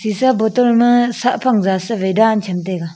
seesha bottle ma saa phang jaat sa wai daan cham taiga.